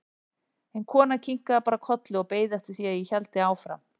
En konan kinkaði bara kolli og beið eftir því að ég héldi áfram.